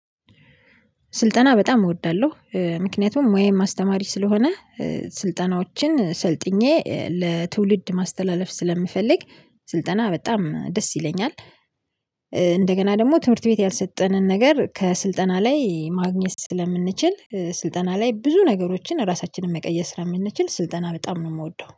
ስልጠና በጣም እወዳለሁ። ምክንያቱም ሙያዬም አስተማሪ ስለሆነ ስልጠናዎችን ሰልጥኜ ለትውልድ ማስተላለፍ ስለምፈልግ ስልጠና በጣም ደስ ይለኛል። እንደገና ደግሞ ትምህርት ቤት ያልሰጠንን ነገር ከስልጠና ላይ ማግኘት ስለምንችል ስልጠና ላይ ብዙ ነገሮችን ራሳችንን መቀየር ስለምንችል ስልጠና በጣም ነው የምወደው።